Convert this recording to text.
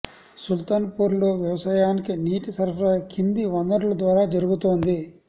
సుల్తాన్ పూర్లో వ్యవసాయానికి నీటి సరఫరా కింది వనరుల ద్వారా జరుగుతోంది